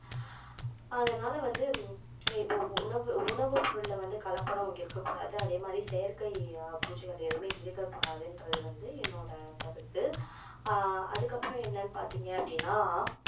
அதுனால வந்து இப்போ உணவு உணவு பொருள்ல வந்து கலப்படம் இருக்கக் கூடாது அதே மாதிரி செயற்கை பூச்சிகள் எதுவுமே இருக்கக் கூடாதுன்றது வந்து என்னோட கருத்து அஹ் அதுக்கப்புறம் என்னன்னு பாத்தீங்க அப்படின்னா